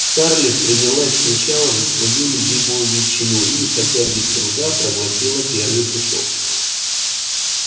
скарлетт принялась сначала за свою любимую ветчину и хотя без труда проглотила первый кусок